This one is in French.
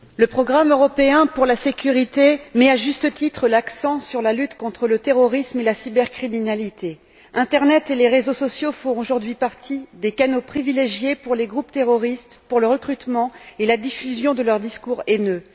Monsieur le Président, le programme européen pour la sécurité met, à juste titre, l'accent sur la lutte contre le terrorisme et la cybercriminalité. L'internet et les réseaux sociaux font aujourd'hui partie des canaux privilégiés par les groupes terroristes pour le recrutement et la diffusion de leur discours haineux.